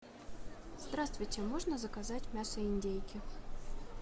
здравствуйте можно заказать мясо индейки